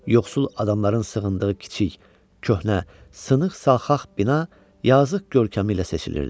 Yoxsul adamların sığındığı kiçik, köhnə, sınıq salxaq bina yazıq görkəmi ilə seçilirdi.